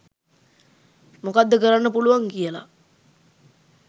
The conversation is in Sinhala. මොකද්ද කරන්න පුළුවන් කියල